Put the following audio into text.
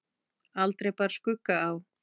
Aldrei bar skugga á.